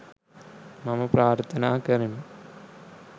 මම ප්‍රාර්ථනා කරමි.